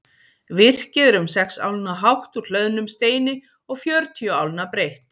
Virkið er um sex álna hátt úr hlöðnum steini og fjörutíu álna breitt.